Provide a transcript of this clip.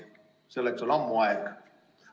Selleks on ammu aeg.